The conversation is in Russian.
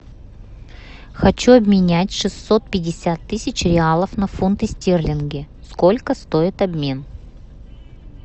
хочу обменять шестьсот пятьдесят тысяч реалов на фунты стерлинги сколько стоит обмен